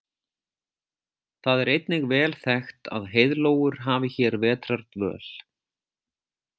Það er einnig vel þekkt að heiðlóur hafi hér vetrardvöl.